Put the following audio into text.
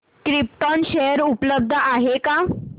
krypton share उपलब्ध आहेत का